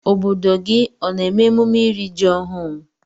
Obodo gi ona eme emume iri ji ohụ?